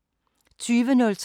DR P3